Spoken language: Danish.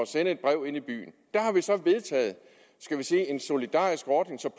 sende et brev inde i byen der har vi så vedtaget en solidarisk ordning så